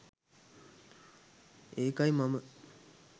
ඒකයි මම